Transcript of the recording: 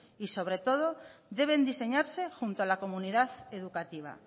y sobre todo deben diseñarse junto a la comunidad educativa